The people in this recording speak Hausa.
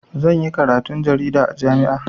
Zan yi karatun jarida a jami'a.